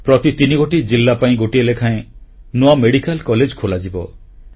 ପ୍ରତି ତିନିଗୋଟି ଜିଲ୍ଲା ପାଇଁ ଗୋଟିଏ ଲେଖାଏଁ ନୂଆ ମେଡ଼ିକାଲ କଲେଜ ଖୋଲାଯିବ